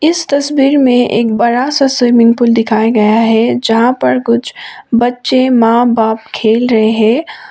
इस तस्वीर में एक बड़ासा स्विमिंग पूल दिखाया गया है जहां पर कुछ बच्चे मां बाप खेल रहे हैं।